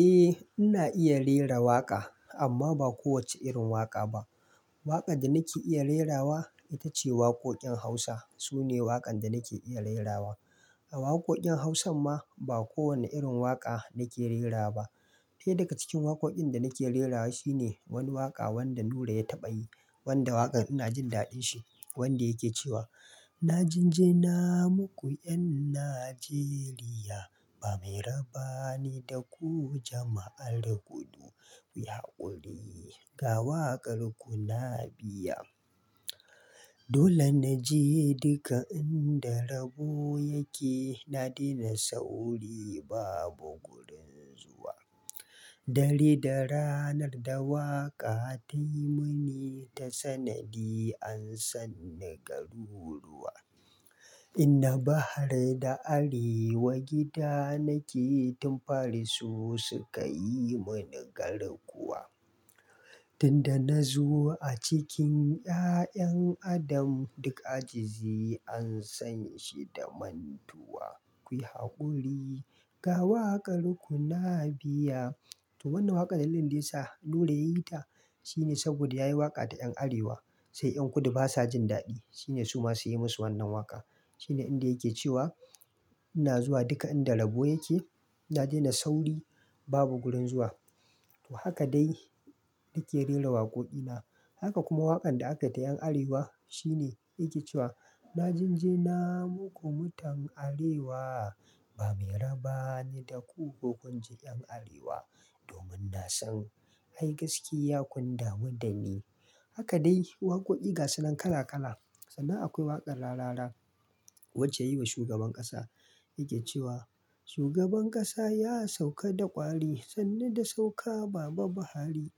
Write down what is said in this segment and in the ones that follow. Eh ina iya rera waƙa amma ba kowace irin waƙa ba. Waƙan da nake iya rerawa ita ce waƙoƙin Hausa. Su ne waƙan da nake iya rerawa. A waƙoƙin Hausan ma ba kowane irin waƙa nake rera ba. Ɗaya daga cikin waƙoƙin da nake rerawa shi ne wani waƙa wanda Nura ya taɓa yi wanda waƙar ina jin daɗin shi wanda yake cewa "na jinjina muku 'yan Najeriya ba mai raba ni da ku jama'ar kudu, ku yi haƙuri ga waƙar ku na biya. Dole na je duka inda rabo yake na daina sauri babu gurin zuwa. Dare da ranar da waƙa tayi mini ta sanadi an sanni garuruwa. Ina bahar da arewa gida nake tun fari su suka yi mani garkuwa. Tunda na zo a cikin 'ya'yan Adam duk ajizi an san shi da mantuwa. Kuyi haƙuri ga waƙar ku na biya." To wannan waƙar yanayin da yasa Nura ya yi ta shine saboda ya yi waƙa da yan arewa sai 'yan kudu basa jin daɗi shine su ma sai ya musu wannan waƙa. Shine inda yake cewa ina zuwa duka inda rabo yake na daina sauri babu gurin zuwa. To haka dai nake rera waƙoƙi na. Haka kuma waƙan da aka yi da yan arewa shine yake cewa "na jinjina muku mutan arewa ba mai raba ni da ku ko kunji 'yan arewa domin na san ai gaskiya kun damu da ni." Haka dai waƙoƙi gasu nan kala kala. Sannan akwai waƙar Rarara wacce ya yi wa shugaban ƙasa yake cewa "Shugaban ƙasa ya sauka da ƙwari sannu da sauka baba Buhari.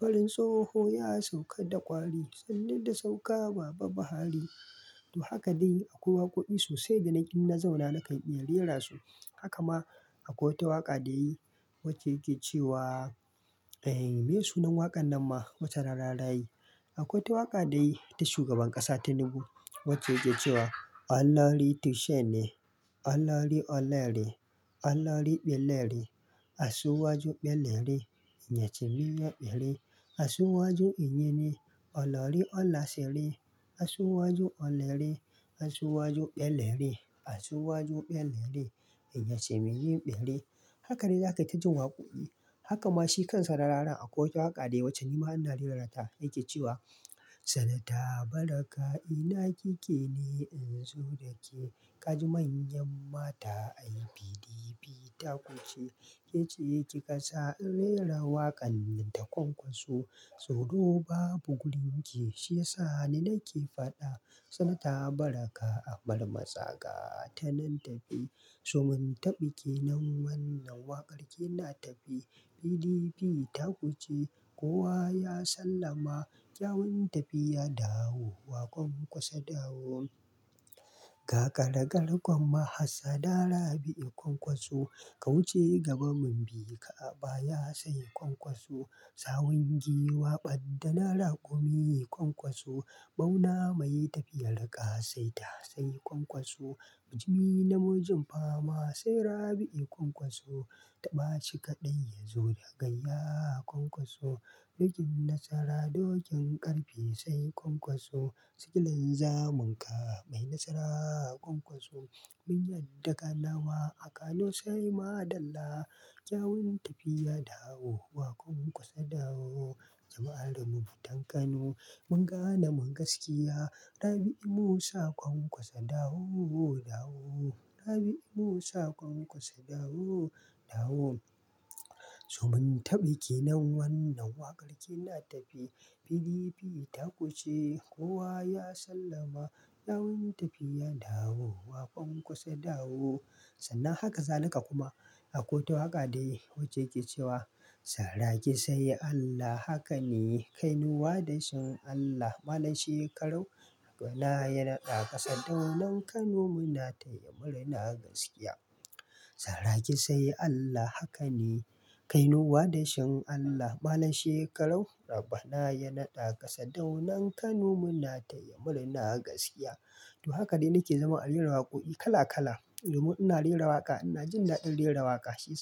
Farin tsoho ya sauka da ƙwari sannu da sauka baba Buhari." To haka dai akwai waƙoƙi sosai da na ƙi na zauna na kan iya rerasu. Haka ma akwai wata waƙa da yayi wacce yake cewa Eh me sunan waƙan nan ma wacce Rarara yayi. Akwai wata waƙa da yayi ta shugaban ƙasa Tinubu wacce yake cewa "Allah riti shene. Allah ri olere. Allah ri ɓelere. Asuwaju ɓelere. Inyece miyeɓere. Asuwaju inyene. Olori olasare. Asuwaju Olere. Asu wajeɓe lere. Asu wajeɓe lere. Inyace miyeɓere." Haka rai a kayi ta jin waƙoƙi. Haka ma shi kansa Rarara akwai wata waƙa da yayi wacce ni ma ina rerata yake cewa "Senata baraka ina kike ne in zo da ke? Ƙa ji manyan mata ai PDP ta kuce. Ke ce kika ƙasa in rera waƙan nan ta ƙwanƙwaso. Saudo babu gurin ki shi yasa ni nake faɗa. Senata Baraka a bar matsaka. Ta nan taɓi. To mun taɓi kenan wannan waƙar ke na taɓi. PDP ta kuce kowa ya sallama. Kyawun tafiya dawowa ƙwanƙwaso dawo. Ga karagarkun mahassada Rabi'u ƙwanƙwaso. Ka wuce gabanmu mu bi ka a baya sai ƙwanƙwaso. Sawun giwa ɓaddana raƙumi ƙwanƙwaso. Ɓauna mai tafiyar ƙa saita sai ƙwanƙwaso. Bujimi namujin fama sai Rabi'i ƙwanƙwaso. Taɓashi kaɗai ya zo da gayya ƙwanƙwaso. Dokin nasara dokin ƙarfe sai ƙwanƙwaso. Tikilin zamun ka mai nasara ƙwanƙwaso. Mun yadda ka nama a Kano sai maɗalla. Kyawun tafiya dawowa ƙwanƙwaso dawo. Jama'ar mu mutan Kano mun gane mun gaskiya. Rabi'i Musa ƙwanƙwaso dawo dawo. Rabi'i Musa ƙwanƙwaso dawo dawo. So mun taɓi kenan wannan waƙar ke na taɓi. PDP ta kuce kowa ya sallama. Kyawun tafiya dawo waƙwan ƙwaso dawo." Sannan har kazalika kuma akwai wata waƙa da yayi wacce yake cewa "Saraki sai Allah haka ne. Kai nuwa da shan Allah. Malam Shekarau wanda ya naɗa ƙasa. Kaunan Kano muna taya murna gaskiya. Saraki sai Allah haka ne. Kai nuwa da shan Allah. Malam shekarau raba na ya naɗa ƙasa. Daunan Kano muna taya murna gaskiya." To haka dai nake zaman a rera waƙoƙi kala kala domin ina rera waƙa ina jin daɗin rera waƙa shi.